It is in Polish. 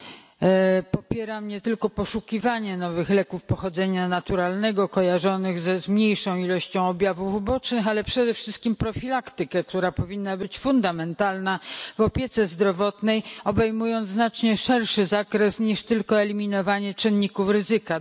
Pani Przewodnicząca! Popieram nie tylko poszukiwanie nowych leków pochodzenia naturalnego kojarzonych ze zmniejszoną ilością objawów ubocznych, ale przede wszystkim profilaktykę, która powinna być fundamentalna w opiece zdrowotnej, obejmując znacznie szerszy zakre, niż tylko eliminowanie czynników ryzyka.